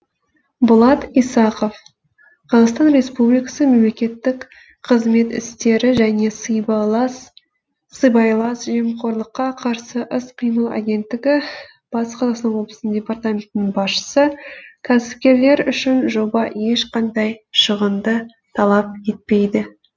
болат исақов қазақстан республикасы мемлекеттік қызмет істері және сыбайлас жемқорлыққа қарсы іс қимыл агенттігі батыс қазақстан ооблысының департаментінің басшысы кәсіпкерлер үшін жоба ешқандай шығынды талап етпейді